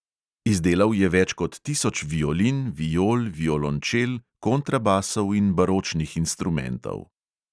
Izdelal je več kot tisoč violin, viol, violončel, kontrabasov in baročnih instrumentov.